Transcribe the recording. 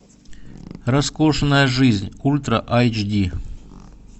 роскошная жизнь ультра айч ди